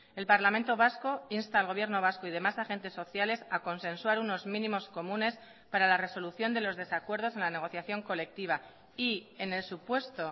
el parlamento vasco insta al gobierno vasco y demás agentes sociales a consensuar unos mínimos comunes para la resolución de los desacuerdos en la negociación colectiva y en el supuesto